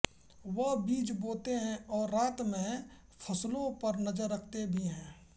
वह बीज बोते है और रात में फसलों पर नजर रखते भी है